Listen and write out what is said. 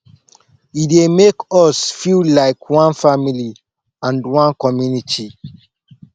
e dey make us feel like one family and one community